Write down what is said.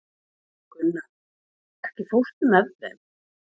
Gunnar, ekki fórstu með þeim?